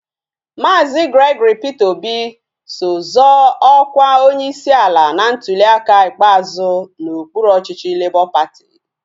Maazi Gregory Peter Obi so zoo ọkwa onyeisi ala na ntuliaka ikpeazụ n'okpuru ọchịchị Labọ patị